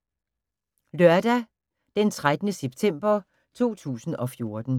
Lørdag d. 13. september 2014